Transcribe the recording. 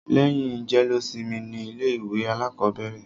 Lẹ́yìn jẹ́lósimi ni ilé ìwé alákọ̀bẹ̀rẹ̀.